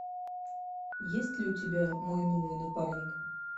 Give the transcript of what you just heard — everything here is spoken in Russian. есть ли у тебя мой новый напарник